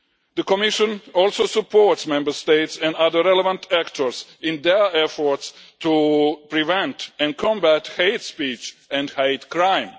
The Commission also supports Member States and other relevant actors in their efforts to prevent and combat hate speech and hate crime.